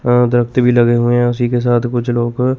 अअ दरख़त भी लगे हुए हैं उसी के साथ कुछ लोग --